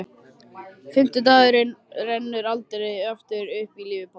Fimmti dagurinn rennur aldrei aftur upp í lífi pabba.